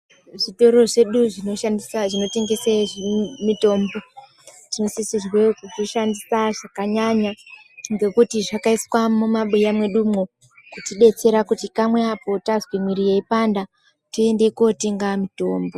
Zvitoro zvedu zvinoshandisa zvinotengese mitombo dzinosisirwe kudzishandisa zvakanyanya ngekuti zvakaiswa mumabuya mwedumwo kutidetsera kuti kamwe apo tazwe mwiri yeipanda toende kotenga mitombo.